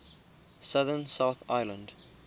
southern south island